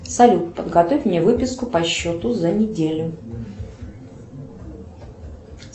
салют подготовь мне выписку по счету за неделю